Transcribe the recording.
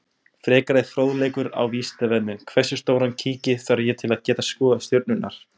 Frekari fróðleikur á Vísindavefnum: Hversu stóran kíki þarf ég til að geta skoðað stjörnurnar?